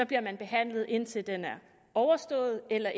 bliver man behandlet indtil den er overstået eller